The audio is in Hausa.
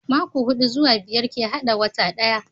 Mako hudu zuwa biyar ke hada wata daya